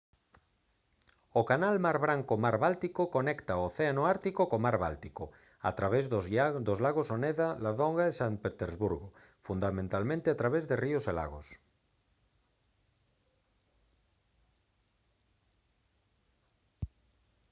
o canal mar branco-mar báltico conecta o océano ártico co mar báltico a través dos lagos oneda ladoga e san petersburgo fundamentalmente a través de río e lagos